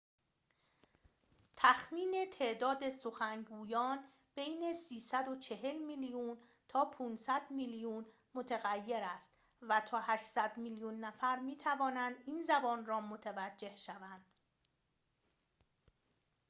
تخمین تعداد سخنگویان بین ۳۴۰ میلیون تا ۵۰۰ میلیون متغیر است و تا ۸۰۰ میلیون نفر می‌توانند این زبان را متوجه شوند